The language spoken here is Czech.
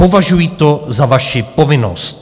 Považuji to za vaši povinnost.